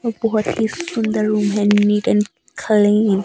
एक बहोत ही सुंदर रूम है नीट अँड क्लीन --